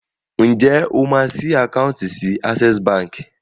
Ǹjẹ́ o máa ṣí àkáùntì sí Access Bank?